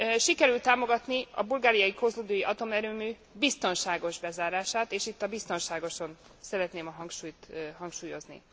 Sikerült támogatni a bulgáriai kozloduji atomerőmű biztonságos bezárását, és itt a biztonságos szóra szeretném a hangsúlyt helyezni.